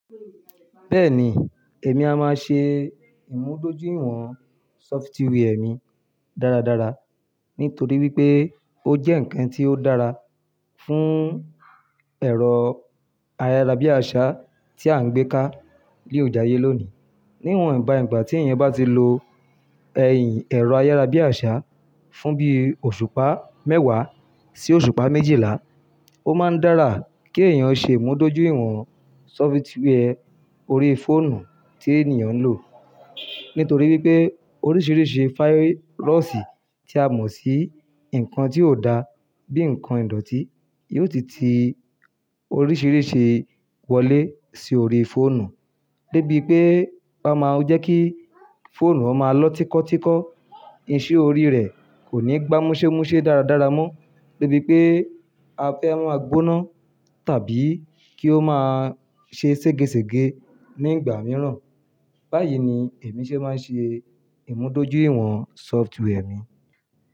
Bẹ́ẹ̀ni, èmi a máa ṣe ìmúdójúìwọ̀n sọfitíwìẹ̀ mi dáradára, nítorí wípé ó jẹ́ ǹkan tí ó dára fún ẹ̀rọ ayárabíàṣá tí à ń gbé ká léò jayé lónìí. Níwọ̀n ìgbà nígbà tí èèyàn bá ti lo ẹ̀yìn ẹ̀rọ ayárabíàṣá fún bí i òṣùpá mẹ́wàá sí òṣùpá méjìlá, ó máa ń dára kí èèyàn ṣe ìmúdójúìwọ̀n sọfitíwìẹ̀ orí fóònù tí ènìyàn ń lò. Nítorí wípé oríṣìíríṣìí fáírọ̀sì tí a mọ̀ sí nǹkan tí ó da bíi nǹkan ìdọ̀tí, yóò ti ti oríṣìíríṣìí wọlé sí orí fóònù. Débi pé ó máa ń jẹ́ kí fóònù rẹ máa lọ tíkọ́tíkọ́, iṣẹ́ orí rẹ̀ kò ní gbámúsémúṣé dáradára mọ́. Débi pé a fẹ́ máa gbóná tàbí kí ó máa ṣe ségesège ní ìgbà mìíràn. Báyìí ni èmi ṣe máa ń ṣe ìmúdójúìwọ̀n sọfitíwìẹ̀ mi.